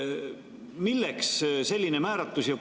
Milleks selline määratlus?